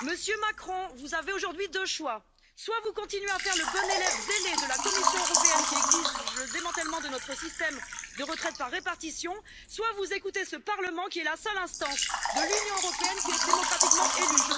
Monsieur Macron, vous avez aujourd'hui deux possibilités. Soit vous continuez à faire le bon élève zélé de la Commission européenne, qui exige le démantèlement de notre système de retraite par répartition, soit vous écoutez ce Parlement qui est la seule instance de l'Union européenne démocratiquement élue.